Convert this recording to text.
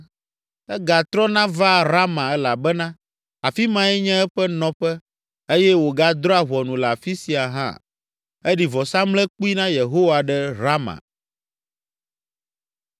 Egatrɔna vaa Rama elabena afi mae nye eƒe nɔƒe eye wògadrɔ̃a ʋɔnu le afi sia hã. Eɖi vɔsamlekpui na Yehowa ɖe Rama.